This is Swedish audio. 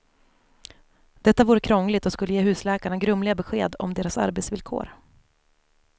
Detta vore krångligt och skulle ge husläkarna grumliga besked om deras arbetsvillkor.